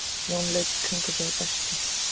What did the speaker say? Jón leit í kringum sig og dæsti.